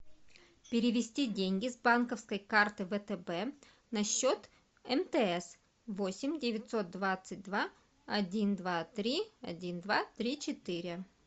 перевести деньги с банковской карты втб на счет мтс восемь девятьсот двадцать два один два три один два три четыре